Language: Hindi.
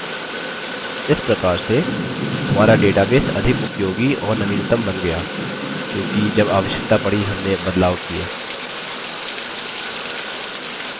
इस प्रकार से हमारा database अधिक उपयोगी और नवीनतम बन गया क्योंकि जब आवश्यकता पड़ी हमने बदलाव किये